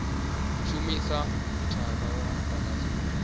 shumisa mithara wa mudagasi une